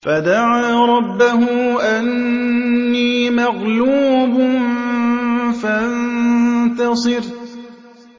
فَدَعَا رَبَّهُ أَنِّي مَغْلُوبٌ فَانتَصِرْ